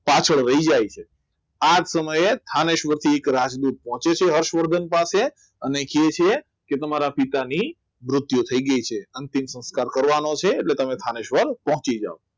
પાછળ રહી જાય છે આ જ સમયે સવારથી એક રાજદૂત પહોંચે છે હર્ષવર્ધન પાસે અને કહે છે તમારા પિતાની મૃત્યુ થઈ ગઈ છે અંતિમ સંસ્કાર કરવાનો છે એટલે તમે સ્થાનેશ્વર પહોંચી જાવ